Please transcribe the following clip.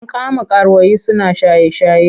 An kama karuwai suna shaye-shaye.